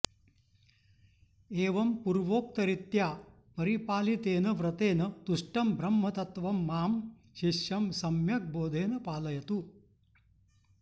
एवं पूर्वोक्तरीत्या परिपालितेन व्रतेन तुष्टं ब्रह्मतत्वं मां शिष्यं सम्यग् बोधेन पालयतु